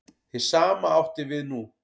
Hið sama átti við nú.